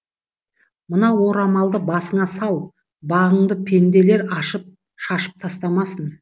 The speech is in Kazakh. мына орамалды басыңа сал бағыңды пенделер ашып шашып тастамасын